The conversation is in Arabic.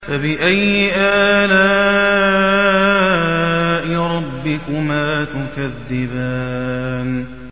فَبِأَيِّ آلَاءِ رَبِّكُمَا تُكَذِّبَانِ